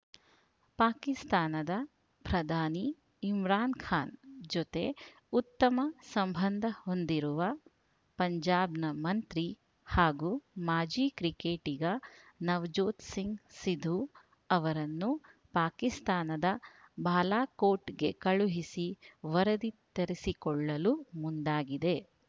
ಪಾಕಿಸ್ತಾನದ ಪ್ರಧಾನಿ ಇಮ್ರಾನ್‌ ಖಾನ್‌ ಜೊತೆ ಉತ್ತಮ ಸಂಬಂಧ ಹೊಂದಿರುವ ಪಂಜಾಬ್‌ನ ಮಂತ್ರಿ ಹಾಗೂ ಮಾಜಿ ಕ್ರಿಕೆಟಿಗ ನವಜೋತ್‌ ಸಿಂಗ್‌ ಸಿಧು ಅವರನ್ನು ಪಾಕಿಸ್ತಾನದ ಬಾಲಾಕೋಟ್‌ಗೆ ಕಳುಹಿಸಿ ವರದಿ ತರಿಸಿಕೊಳ್ಳಲು ಮುಂದಾಗಿದೆ